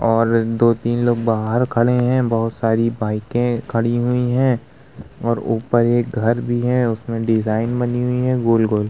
और दो-तीन लोग बाहर खड़े हैं। बोहोत सारी बाइके खड़ी हुई हैं और ऊपर एक घर भी है और उसमे डिज़ाइन बनी हुई है गोल-गोल।